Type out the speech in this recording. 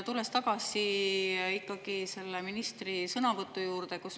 Tulen ikkagi tagasi ministri sõnavõtu juurde.